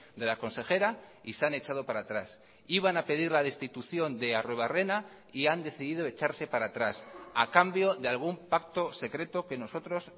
de la consejera y se han echado para atrás iban a pedir la destitución de arruebarrena y han decidido echarse para atrás a cambio de algún pacto secreto que nosotros